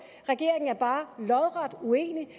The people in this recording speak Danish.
regeringen er bare lodret uenig